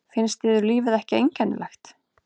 Finnst yður lífið ekki einkennilegt?